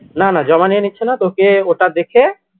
না না জমা নিয়ে নিচ্ছে না তোকে ওটা দেখে